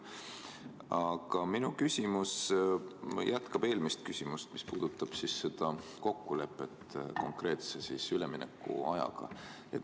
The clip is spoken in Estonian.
Aga minu küsimus jätkab eelmist küsimust ja puudutab kokkulepet konkreetse üleminekuaja kohta.